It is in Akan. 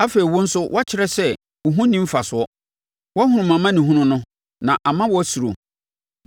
Afei wo nso woakyerɛ sɛ wo ho nni mfasoɔ; Woahunu mʼamanehunu no, na ama woasuro.